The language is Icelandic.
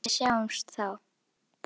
Bryndís í næstu stofu!